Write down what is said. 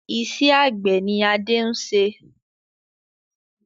Iṣẹ́ àgbẹ̀ ni Adé ń ṣe